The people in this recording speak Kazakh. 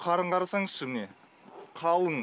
қарын қарасаңызшы міне қалың